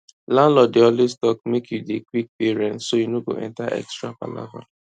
landlord dey always talk make you dey quick pay rent so you no go enter extra palava